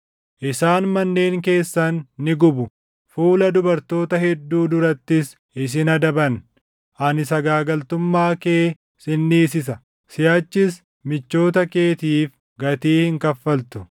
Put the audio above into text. Isaan manneen keessan ni gubu; fuula dubartoota hedduu durattis isin adaban. Ani sagaagaltummaa kee sin dhiisisa; siʼachis michoota keetiif gatii hin kaffaltu.